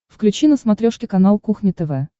включи на смотрешке канал кухня тв